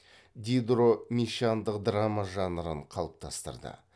дидро мещандық драма жанрын қалыптастырды